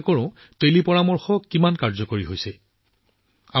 আমি জনসাধাৰণৰ বাবে টেলিপৰামৰ্শ কিমান কাৰ্যকৰী হৈছে জানিবলৈ চেষ্টা কৰোঁ আহক